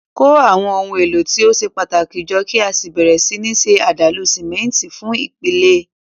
Kó àwọn ohun èlò tí ó ṣe pàtàkì jọ kí o sì bẹ̀rẹ̀ sí ní ṣe àdàlù símẹ́ńtì fún ìpìlẹ̀.